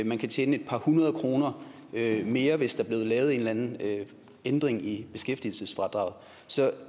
man kan tjene et par hundrede kroner mere hvis der blev lavet en eller anden ændring i beskæftigelsesfradraget så